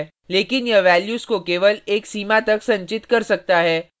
लेकिन यह values को केवल एक सीमा तक संचित कर सकता है